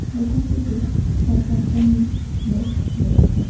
দোকানটিতে চার পাঁচ জন লোক রয়েছে।